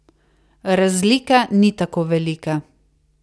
Razlika ni tako velika.